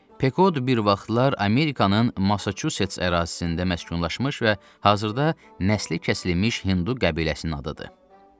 Pekod bir vaxtlar Amerikanın Massaçuçets ərazisində məskunlaşmış və hazırda nəsli kəsilmiş hindu qəbiləsinin adıdır.